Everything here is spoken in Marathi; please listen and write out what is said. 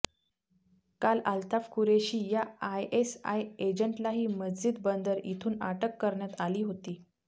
काल अल्ताफ कुरेशी या आयएसआय एजंटलाही मज्जीद बंदर इथून अटक करण्यात आली होती